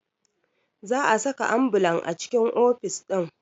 Za a saka ambulan a cikin ofis ɗin